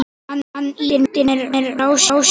Hann ýtir mér frá sér.